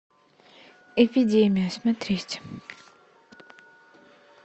эпидемия смотреть